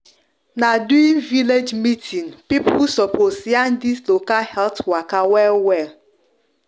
na village meeting people sopos yarn dis local health waka well well